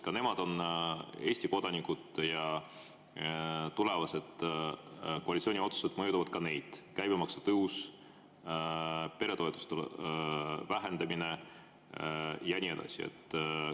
Ka nemad on Eesti kodanikud ja tulevased koalitsiooni otsused mõjutavad ka neid: käibemaksu tõus, peretoetuste vähendamine ja nii edasi.